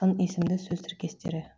сын есімді сөз тіркестері